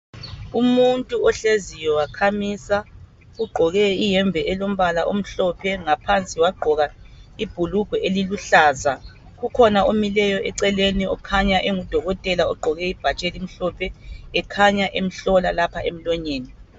Umuntu ohleziyo wakhamisa. Ugqoke iyembe elombala omhlophe ngaphansi wagqoka ibhulugwe eliluhlaza. Kukhona omileyo eceleni okhanya engudokotela ogqoke ibhatshi elimhlophe ekhanya emhlola lapha emlonyeni.